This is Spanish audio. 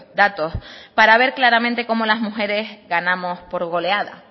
datos para ver claramente como las mujeres ganamos por goleada